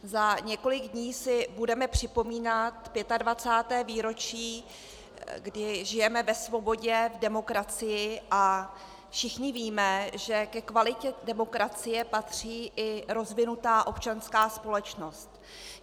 Za několik dní si budeme připomínat 25. výročí, kdy žijeme ve svobodě, v demokracii, a všichni víme, že ke kvalitě demokracie patří i rozvinutá občanská společnost.